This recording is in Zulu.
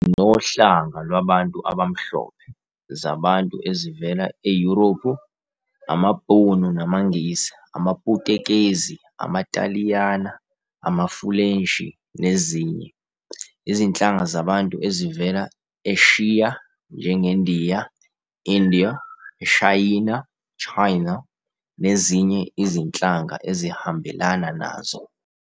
Sinohlanga lwabantu abamhlophe, zabantu ezivela eYurophu- amabhunu namaNgisi, amaPutukezi, amaTaliyana amaFulenshi nezinye, izinhlanga zabantu ezivela e-Eshiya njengeNdiya, India, eShayina, "China", nezinye izinhlanga ezihambelana nazo.